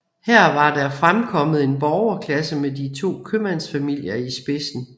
Her var der fremkommet en borgerklasse med de to købmandsfamilier i spidsen